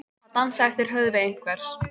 Að dansa eftir höfði einhvers